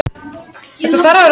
Ég veit jafnmikið um það og þú.